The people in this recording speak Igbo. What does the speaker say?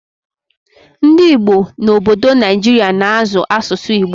Ndị Igbo n'obodo Naijiria na-azụ asụsụ Igbo